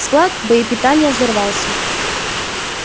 склад боепитания взорвался